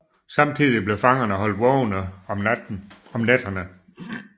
Samtidig blev fangerne holdt vågne om nætterne